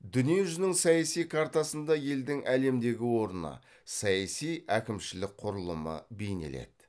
дүние жүзінің саяси картасында елдің әлемдегі орны саяси әкімшілік құрылымы бейнеледі